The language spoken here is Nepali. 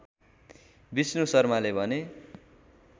विष्णु शर्माले भने